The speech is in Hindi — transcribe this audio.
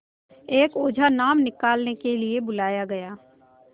एक ओझा नाम निकालने के लिए बुलाया गया